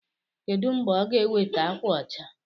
Kedụ mgbe ọ ga-eweta ákwà ọcha?